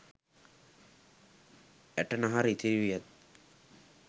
ඇට නහර ඉතිරි වී